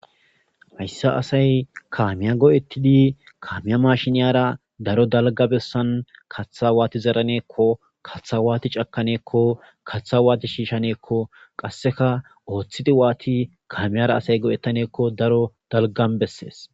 hayssa asay kaamiya go7ettidi kaamiya mashiniyara daro dalga bessan kaththa waati zeraneekko kaththa waati cakaneekko katha waati shiishaneekko qasseka ooththidi waati kaamiyara asay go7ettaneekko daro dalgan bessees